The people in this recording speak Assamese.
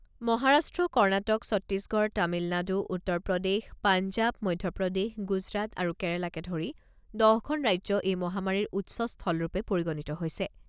মহাৰাষ্ট্ৰ, কৰ্ণাটক, ছত্তিশগড়, তামিলনাড়ু, উত্তৰ প্ৰদেশ, পাঞ্জাব, মধ্যপ্ৰদেশ, গুজৰাট আৰু কেৰালাকে ধৰি দহখন ৰাজ্য এই মহামাৰীৰ উৎসস্থলৰূপে পৰিগণিত হৈছে।